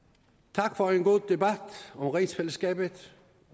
tak for en god debat om rigsfællesskabet